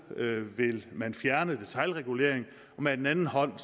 vil vil fjerne detailregulering og med den anden hånd